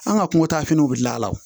An ka kungo taa finiw bɛ gilan a la